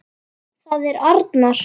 Það er arnar.